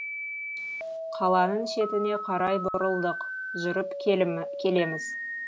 қаланың шетіне қарай бұрылдық жүріп келеміз